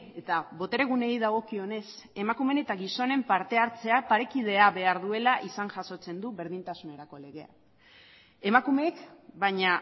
eta botere gunei dagokionez emakumeen eta gizonen partehartzea parekidea behar duela izan jasotzen du berdintasun legea emakumeek baina